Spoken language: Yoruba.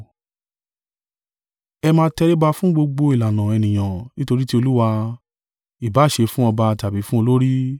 Ẹ máa tẹríba fún gbogbo ìlànà ènìyàn nítorí ti Olúwa, ìbá à ṣe fún ọba tàbí fún olórí.